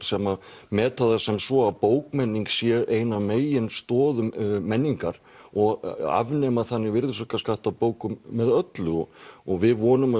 sem meta það sem svo að bókmenning sé ein af megin stoðum menningar og afnema þannig virðisaukaskatt á bókum með öllu og og við vonum